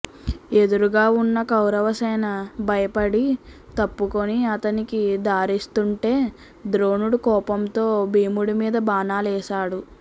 ఎదురుగా వున్న కౌరవసేన భయపడి తప్పుకుని అతనికి దారిస్తుంటే ద్రోణుడు కోపంతో భీముడి మీద బాణాలేశాడు